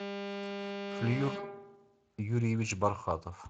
флир юрьевич бархатов